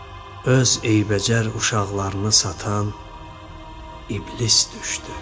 öz eybəcər uşaqlarını satan iblis düşdü.